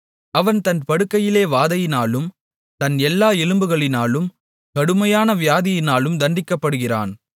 அவன் தன் படுக்கையிலே வாதையினாலும் தன் எல்லா எலும்புகளிலும் கடுமையான வியாதியினாலும் தண்டிக்கப்படுகிறான்